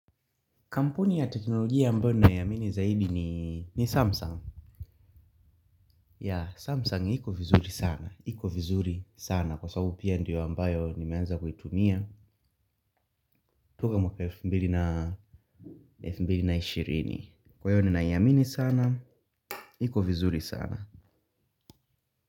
Kampuni ya teknolojia ambayo naiamini zaidi ni Samsung. Ya, Samsung iko vizuri sana. Iko vizuri sana. Kwa sababu pia ndiyo ambayo nimeanza kuitumia. Tuko mwaka elfu mbili na ishirini ninaiamini sana. Iko vizuri sana.